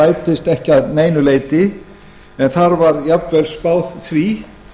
rætist ekki að neinu leyti en þar var jafnvel spáð því